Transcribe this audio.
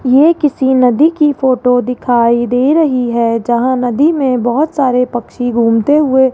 ये किसी नदी की फोटो दिखाई दे रही है जहां नदी में बहुत सारे पक्षी घूमते हुए --